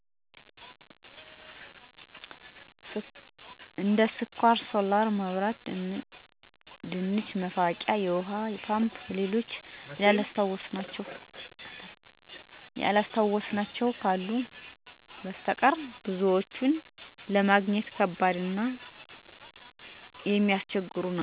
ስኳር፣ ሶላር መብራት፣ የድንች መፋቂያ፣ የውሀ ፓምፕ እና ሌሎችም አሁን ያላስታወስኋቸው ቁሳቁሶች በእኛ ገበያ ለማግኘት ከባድ ነው። ፓምፕ እንዲያውም በግብርና የተሰጠ ሰው ካልተዋዋስን በሰተቀር ገበያ ላይ ብዙ ጊዜ አይገኝም። ሌሎች ነገሮች አንኳ ከሌላ ከተማ ስለማይታጡ ከዚያ እየሄድን እንገዛለን። ለምሳሌ ስኳር እኛ ገበያ ብዙም የለ በቀበሌ ካልሆነ እና ከደብረ ማርቆስ ወይም ከ አዲስ አበባ የሚመጣ ሰው ካለ በዛ አድርጎ እንዲያመጣልን እንነግረዋለን። እኛ ቤተሰብ እነደዚያ ነው ያችን እየቆጠቡ መጠቀም ነው።